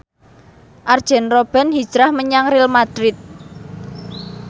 Arjen Robben hijrah menyang Real madrid